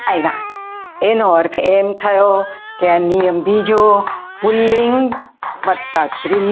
આવ્યા એનો અર્થ એમ થયો કે આ નિયમ બીજો પુલ્લિંગ વત્તા સ્ત્રીલિંગ.